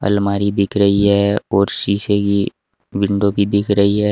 अलमारी दिख रही है और शीशे की विंडो भी दिख रही है।